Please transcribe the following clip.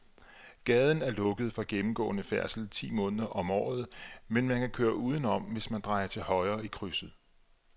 Gaden er lukket for gennemgående færdsel ti måneder om året, men man kan køre udenom, hvis man drejer til højre i krydset.